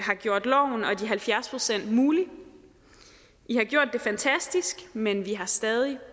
og gjort loven og de halvfjerds procent muligt i har gjort det fantastisk men vi har stadig